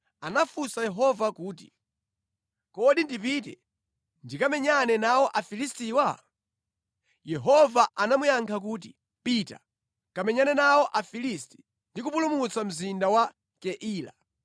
anafunsa Yehova kuti, “Kodi ndipite ndikamenyane nawo Afilistiwa?” Yehova anamuyankha kuti, “Pita, kamenyane nawo Afilisti ndi kupulumutsa mzinda wa Keila.”